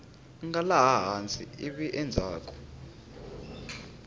nga laha hansi ivi endzhaku